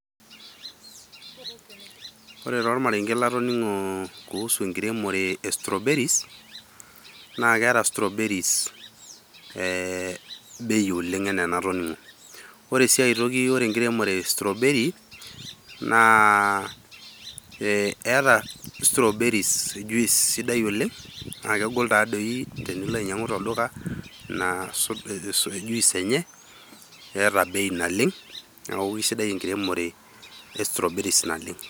Ore taa ormarenke latoningo kuhusu enkiremore e strawberries , naa keta strawberries bei oleng enaa enatoningo . Ore si ae toki ore enkiremore e strawberry naa eeta strawberry juice sidai oleng naa kegol taa doi tenilo ainyiangu tolduka ina juice enye eeta bei naleng .Niaku kisidai enkiremore e strawberries naleng.